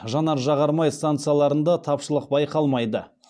жанар жағар май станцияларында тапшылық байқалмайды